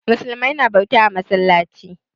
Musulmai na bauta a masallaci.